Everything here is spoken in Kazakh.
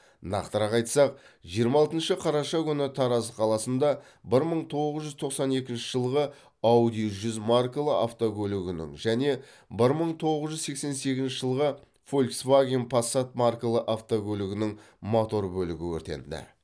нақтырақ айтсақ жиырма алтыншы қараша күні тараз қаласында бір мың тоғыз жүз тоқсан екінші жылғы ауди жүз маркалы автокөлігінің және бір мың тоғыз жүз сексен сегізінші жылғы фолсваген пассат маркалы автокөлігінің мотор бөлігі өртенді